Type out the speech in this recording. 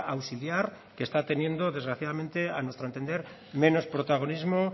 auxiliar que está teniendo desgraciadamente a nuestro entender menos protagonismo